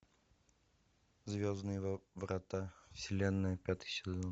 звездные врата вселенная пятый сезон